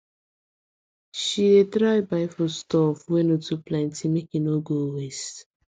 she dey try buy foodstuff wey no too plenty make e no go waste